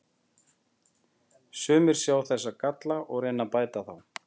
Sumir sjá þessa galla og reyna að bæta þá.